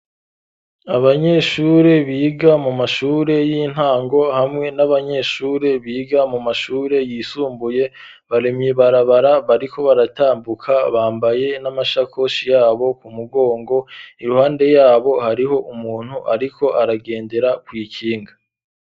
Abanyeshure biga mu mashure y'intango hamwe n'abanyeshure biga mu mashure yisumbuye bari mw'ibarabara bariko baratambuka bambaye n'amashakoshi yabo ku mugongo iruhande yabo hariho umuntu ariko aragendera kw'ikinga.